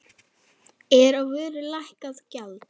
Er á vöru lækkað gjald.